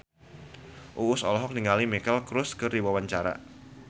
Uus olohok ningali Miley Cyrus keur diwawancara